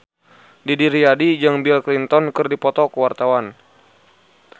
Didi Riyadi jeung Bill Clinton keur dipoto ku wartawan